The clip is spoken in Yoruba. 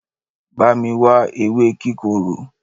Bá mi wá ewé kíkorò